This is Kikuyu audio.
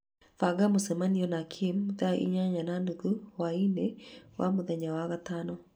banga mũcemanio na Kim thaa inyanya na nuthu hwaĩ-inĩ wa mũthenya wa gatano